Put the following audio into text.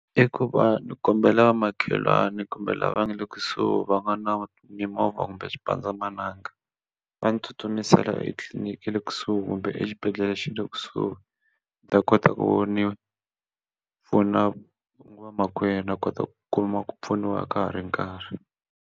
I ku va ni kombela vamakhelwani kumbe lava nga le kusuhi va nga na mimovha kumbe xipandzamananga va ni tsutsumisela etliliniki le kusuhi kumbe exibedhlele xi le kusuhi ni ta kota ku ni pfuna vamakwenu a kota ku kuma ku pfuniwa ka ha ri nkarhi.